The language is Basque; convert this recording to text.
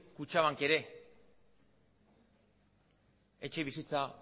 kutxabank ere etxebizitza